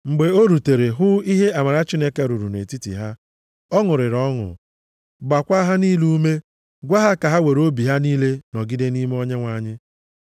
Mgbe o rutere, hụ ihe amara Chineke rụrụ nʼetiti ha. Ọ ṅụrịrị ọṅụ, mgbakwaa ha niile ume, gwa ha ka ha were obi ha niile nọgide nʼime Onyenwe anyị.